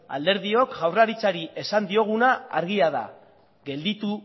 alderdiok jaurlaritzari esan dioguna argia da gelditu